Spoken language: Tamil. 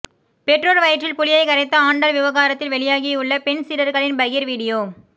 பெற்றோர் வயிற்றில் புளியை கரைத்த ஆண்டாள் விவகாரத்தில் வெளியாகியுள்ள பெண் சீடர்களின் பகீர் வீடியோ